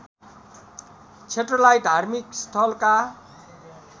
क्षेत्रलाई धार्मिक स्थलका